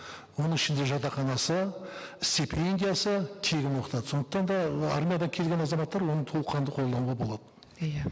оның ішінде жатақханасы стипендиясы тегін оқытады сондықтан да мына армиядан келген азаматтар оны толыққанды қолдануға болады иә